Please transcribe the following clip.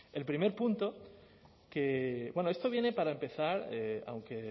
el primer punto bueno esto viene para empezar aunque